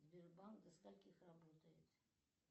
сбербанк до скольких работает